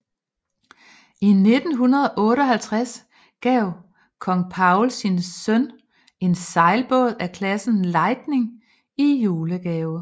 I 1958 gav kong Paul sin søn en sejlbåd af klassen Lightning i julegave